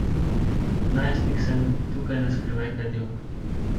Kot najstnik sem tukaj na skrivaj kadil.